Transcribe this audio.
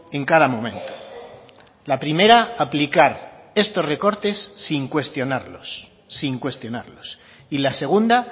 en cada momento la primera aplicar estos recortes sin cuestionarlos sin cuestionarlos y la segunda